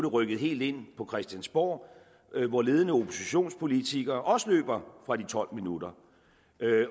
rykket helt ind på christiansborg hvor ledende oppositionspolitikere også løber fra de tolv minutter